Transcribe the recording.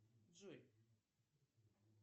джой